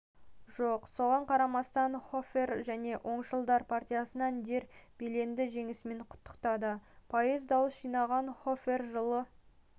жоқ соған қарамастанхофер және оңшылдар партиясыван дер белленді жеңісімен құттықтады пайыз дауыс жинаған хофер жылы